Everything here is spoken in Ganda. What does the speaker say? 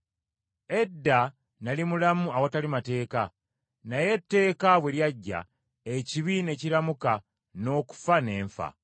Edda nali mulamu awatali mateeka, naye etteeka bwe lyajja, ekibi ne kiramuka, n’okufa ne nfa.